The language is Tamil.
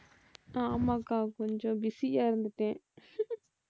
ஆமாக்கா கொஞ்சம் busy ஆ இருந்துட்டேன்